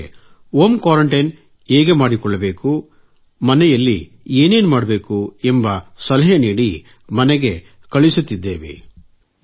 ಜೊತೆಗೆ home quarantine ಹೇಗೆ ಮಾಡಿಕೊಳ್ಳಬೇಕು ಮನೆಯಲ್ಲಿ ಏನೇನು ಮಾಡಬೇಕು ಎಂಬ ಸಲಹೆ ನೀಡಿ ಮನೆಗೆ ಕಳುಹಿಸುತ್ತಿದ್ದೇವೆ